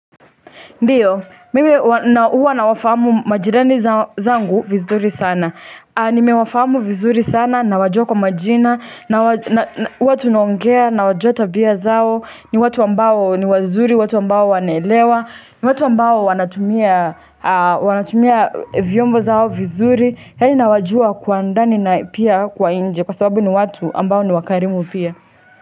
Ndiyo, mimi uwa na wafahamu majirani zangu vizuri sana. Nime wafamu vizuri sana, na wajua kwa majina, na huwatunaongea, na wajua tabia zao, ni watu ambao ni wazuri, watu ambao wanaelewa, ni watu ambao wanatumia vyombo zao vizuri, yaani na wajua kwa ndani na pia kwa nje, kwa sababu ni watu ambao ni wakarimu pia.